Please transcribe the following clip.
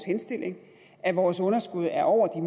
henstillingen at vores underskud er over